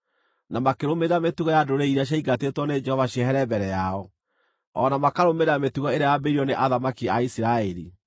na makĩrũmĩrĩra mĩtugo ya ndũrĩrĩ iria ciaingatĩtwo nĩ Jehova ciehere mbere yao, o na makarũmĩrĩra mĩtugo ĩrĩa yambĩrĩirio nĩ athamaki a Isiraeli.